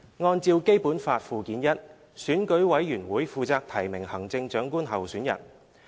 按照《基本法》附件一，選舉委員會負責提名行政長官候選人。